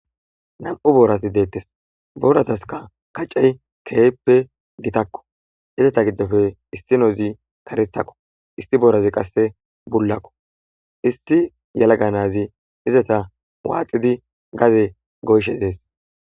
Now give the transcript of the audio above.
Na'mu borati de'etes na'mu borataska kacey kehippe gittako izata gidope issnozi karethako issi borazi qa bolako issi yalaga na'azi eta waxidi gade goyishe de'es